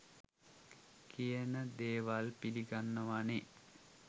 කියන දේවල් පිලිගන්නවානේ